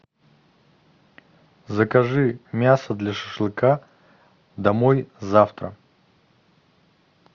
закажи мясо для шашлыка домой завтра